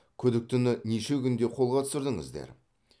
күдіктіні неше күнде қолға түсірдіңіздер